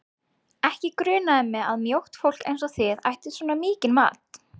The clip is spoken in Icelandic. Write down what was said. Ekki grunaði mig að mjótt fólk eins og þið ættuð svona mikinn mat